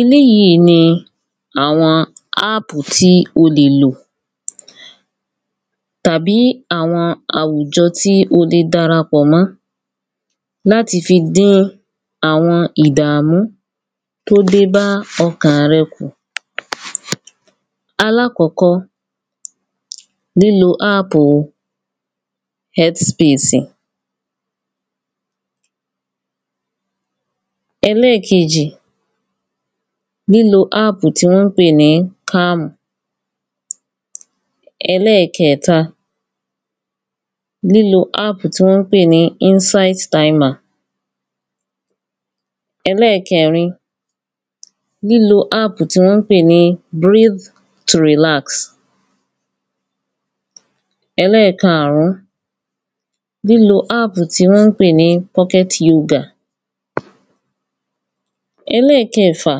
eléyíi ni àwọn ápù tí ó lè lò, tàbí àwọn àwùjọ tí o le darapọ̀mọ́, láti fi dín àwọn ìdàmú tódébá ọkàn rẹ kù. alákọ́kọ́, lílo ápùu ẹ́tí spesì. ẹlẹ́keèjì ni lílo ápù tí wọ́n pè ní kámù. ẹlẹ́kẹẹ̀ta, líló ápù tí wọ́n pè ní ínsétí taìmà. ẹlẹ́kẹẹ̀rin, lílo ápù tí wọ́n pè ní bíríd tò rìlasì. ẹlẹ́kaàrún, lílo ápù tí wọ́n pè ní pọ́kẹ́t yógà. ẹlẹ́kẹẹ̀fà,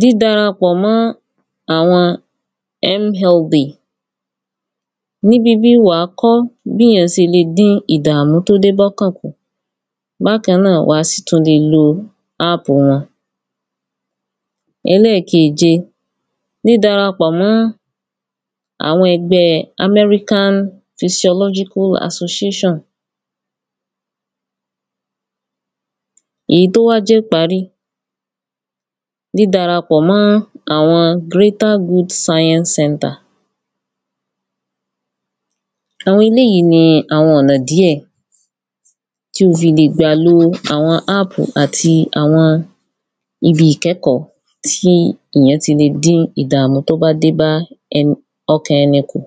dírarapọ̀ mọ́ àwọn mlb. níbibí, wà á kọ́ bí ìyán sele dín ìdàmú tó dé bọ́kàn kù, bákan náà wà á sì tún le lo ápù wọn. ẹlẹ́keèje, dídarapọ̀ mọ́ àwọn ẹgbẹ́ẹ amẹ́ríkán fisiọlọ́gíkú asoséṣàn. èyí tó wá jẹ́ íparí, dídarapọ̀ mọ́ àwọn grétá gúdú sáyẹ́nsí sẹntà. àwọn eléyìí ni àwọn ọ̀nà díẹ̀ tí o fi lè gbà lo àwọn ápù, àti àwọn ibi ìkẹ́kọ̀ọ́ tí ìyán ti le dín ìdàmú tó bá dé bá ẹni, ọkàn ẹni kù.